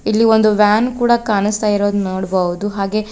ಇಲ್ಲಿ ಒಂದು ವ್ಯಾನ್ ಕೂಡ ಕಾಣಿಸ್ತಾ ಇರೋದು ನೋಡ್ಬಹುದು ಹಾಗೆ--